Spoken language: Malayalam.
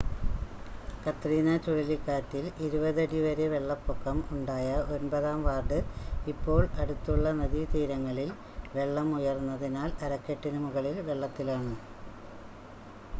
കത്രീന ചുഴലിക്കാറ്റിൽ 20 അടി വരെ വെള്ളപ്പൊക്കം ഉണ്ടായ ഒൻപതാം വാർഡ് ഇപ്പോൾ അടുത്തുളള നദീതീരങ്ങളിൽ വെള്ളം ഉയർന്നതിനാൽ അരക്കെട്ടിന് മുകളിൽ വെള്ളത്തിലാണ്